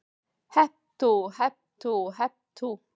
Hep tú, hep tú, hep tú.